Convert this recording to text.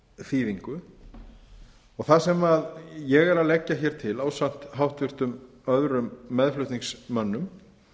þýðingu það sem ég er að leggja til ásamt öðrum háttvirtum meðflutningsmönnum